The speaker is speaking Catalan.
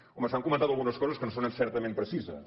home s’han comentat algunes coses que no són certament precises